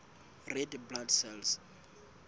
red blood cells